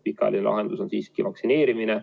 Pikaajaline lahendus on siiski vaktsineerimine.